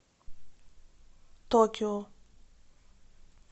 токио